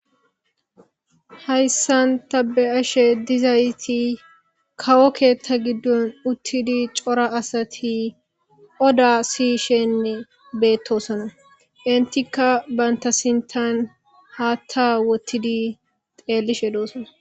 Hayssan tabe ashe dizayti kawo keetta giddon uttidi cora asati oda siyishenne beettosona intikka bantasintan haatta wottidi xeellishe doosona.